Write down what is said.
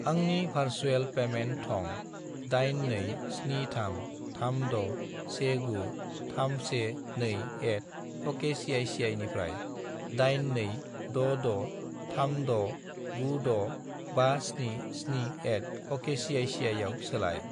आंनि भारसुएल पेमेन्ट थं 82733619312@okcici निफ्राय 82663696577@okcici आव सोलाय।